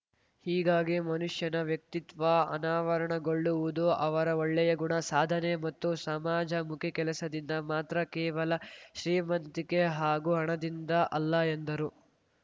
ಹೀಗಾಗಿ ಮನುಷ್ಯನ ವ್ಯಕ್ತಿತ್ವ ಅನಾವರಣಗೊಳ್ಳುವುದು ಅವರ ಒಳ್ಳೆಯ ಗುಣ ಸಾಧನೆ ಮತ್ತು ಸಮಾಜಮುಖಿ ಕೆಲಸದಿಂದ ಮಾತ್ರ ಕೇವಲ ಶ್ರೀಮಂತಿಕೆ ಹಾಗೂ ಹಣದಿಂದ ಅಲ್ಲ ಎಂದರು